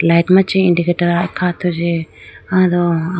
light machi indicator akha thuji ado.